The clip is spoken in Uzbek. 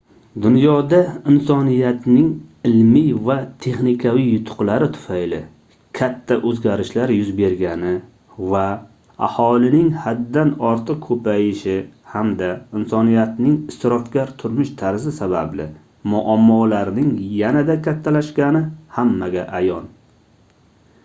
dunyoda insoniyatning ilmiy va texnikaviy yutuqlari tufayli katta oʻzgarishlar yuz bergani va aholining haddan ortiq koʻpayishi hamda insoniyatning isrofgar turmush tarzi sababli muammolarning yanada kattalashgani hammaga ayon